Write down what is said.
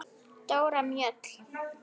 Dóra Mjöll.